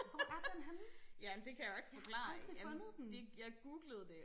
hvor er den henne jeg har aldrig fundet den